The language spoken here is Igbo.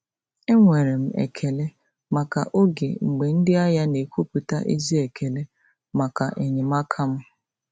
Enwere m ekele maka oge mgbe ndị ahịa na-ekwupụta ezi ekele maka enyemaka m.